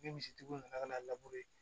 Ni misi tigiw nana kana n'a